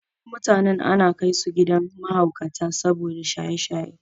Wasu mutanen ana kaisu gidan mahaukata saboda shaye-shaye.